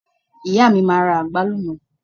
ìyá mi ma ra agbalumo